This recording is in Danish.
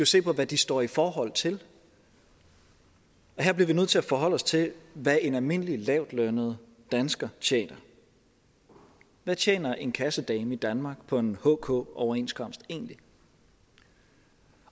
se på hvad de står i forhold til her bliver vi nødt til at forholde os til hvad en almindelig lavtlønnet dansker tjener hvad tjener en kassedame i danmark på en hk overenskomst egentlig